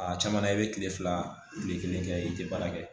A caman na i bɛ kile fila kile kelen kɛ i te baara kɛ